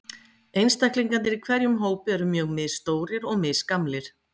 Einstaklingarnir í hverjum hópi eru mjög misstórir og misgamlir.